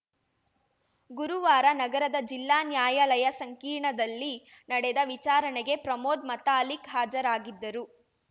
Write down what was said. ಗುರುವಾರ ನಗರದ ಜಿಲ್ಲಾ ನ್ಯಾಯಾಲಯ ಸಂಕೀರ್ಣದಲ್ಲಿ ನಡೆದ ವಿಚಾರಣೆಗೆ ಪ್ರಮೋದ್‌ ಮತಾಲಿಕ್‌ ಹಾಜರಾಗಿದ್ದರು